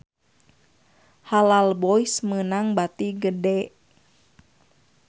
Halal Boys meunang bati gede